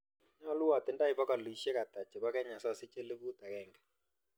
Nyalu atindoi pogolisiek ata chebo kenya sasich elipuut agenge